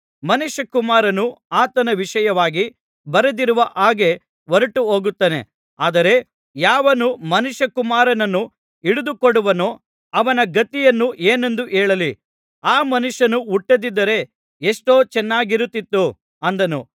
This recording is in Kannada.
ಮನುಷ್ಯಕುಮಾರನು ಆತನ ವಿಷಯವಾಗಿ ಬರೆದಿರುವ ಹಾಗೆ ಹೊರಟುಹೋಗುತ್ತಾನೆ ಆದರೆ ಯಾವನು ಮನುಷ್ಯಕುಮಾರನನ್ನು ಹಿಡಿದುಕೊಡುವನೋ ಅವನ ಗತಿಯನ್ನು ಏನೆಂದು ಹೇಳಲಿ ಆ ಮನುಷ್ಯನು ಹುಟ್ಟದಿದ್ದರೆ ಎಷ್ಟೋ ಚೆನ್ನಾಗಿರುತ್ತಿತ್ತು ಅಂದನು